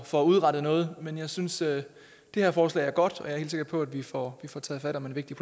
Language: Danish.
får udrettet noget men jeg synes det her forslag er godt og jeg er helt sikker på at vi får får taget fat om en vigtig